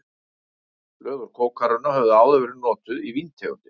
Blöð úr kókarunna höfðu áður verið notuð í víntegundir.